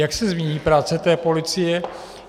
Jak se změní práce té policie?